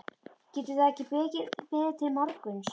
Getur það ekki beðið til morguns?